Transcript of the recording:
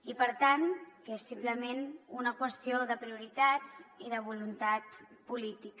i per tant que és simplement una qüestió de prioritats i de voluntat política